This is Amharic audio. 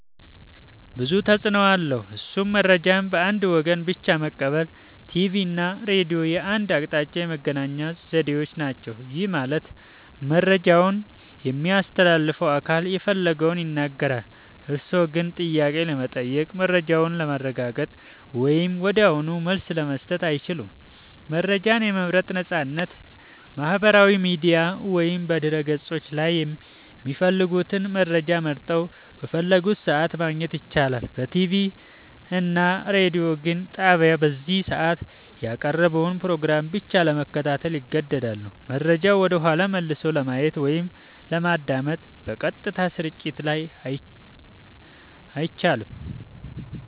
ብዙ ተፅኖ አለዉ እሱም :-መረጃን በአንድ ወገን ብቻ መቀበል ቲቪ እና ሬዲዮ የአንድ አቅጣጫ የመገናኛ ዘዴዎች ናቸው። ይህ ማለት መረጃውን የሚያስተላልፈው አካል የፈለገውን ይናገራል፤ እርስዎ ግን ጥያቄ ለመጠየቅ፣ መረጃውን ለማረጋገጥ ወይም ወዲያውኑ መልስ ለመስጠት አይችሉም። መረጃን የመምረጥ ነፃነት ማጣት በማህበራዊ ሚዲያ ወይም በድረ-ገጾች ላይ የሚፈልጉትን መረጃ መርጠው፣ በፈለጉት ሰዓት ማግኘት ይችላሉ። በቲቪ እና ሬዲዮ ግን ጣቢያው በዚያ ሰዓት ያቀረበውን ፕሮግራም ብቻ ለመከታተል ይገደዳሉ። መረጃውን ወደኋላ መልሶ ለማየት ወይም ለማዳመጥ (በቀጥታ ስርጭት ላይ) አይቻልም።